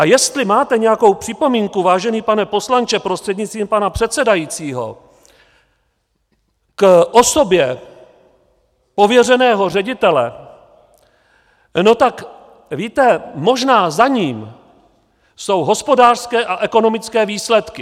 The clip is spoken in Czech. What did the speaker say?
A jestli máte nějakou připomínku, vážený pane poslanče prostřednictvím pana předsedajícího, k osobě pověřeného ředitele, no tak víte, možná za ním jsou hospodářské a ekonomické výsledky.